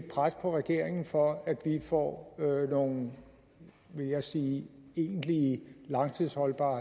pres på regeringen for at vi får nogle vil jeg sige egentlig langtidsholdbare